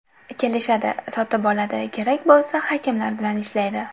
Kelishadi, sotib oladi, kerak bo‘lsa, hakamlar bilan ‘ishlaydi’.